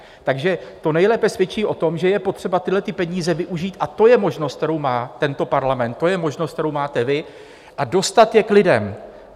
Takže to nejlépe svědčí o tom, že je potřeba tyhle peníze využít - a to je možnost, kterou má tento parlament, to je možnost, kterou máte vy - a dostat je k lidem.